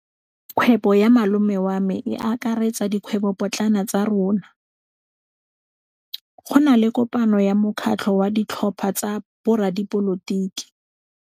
Kgwêbô ya malome wa me e akaretsa dikgwêbôpotlana tsa rona. Go na le kopanô ya mokgatlhô wa ditlhopha tsa boradipolotiki.